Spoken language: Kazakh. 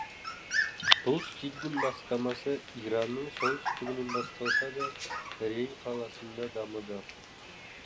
бұл стильдің бастамасы иранның солтүстігінен басталса да рей қаласында дамыды